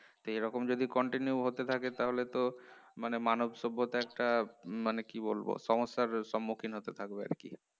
তা এরকম যদি continue হতে থাকে তাহলে তো মানে মানব সভ্যতায় একটা হম মানে কি বলবো সমস্যার সম্মুখীন হতে থাকবে আর কি